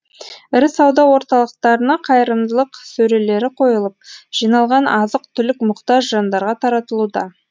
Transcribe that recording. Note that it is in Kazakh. ірі сауда орталықтарына қайырымдылық сөрелері қойылып жиналған азық түлік мұқтаж жандарға таратылуда